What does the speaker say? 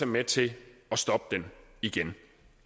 med til at stoppe den igen